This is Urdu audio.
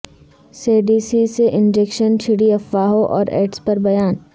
سیڈیسی سے انجکشن چھڑی افواہوں اور ایڈز پر بیان